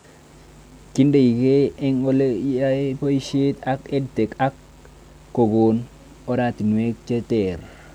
Kiindekei eng' ole yae poishet ak EdTech ak kokon oratinwek che ter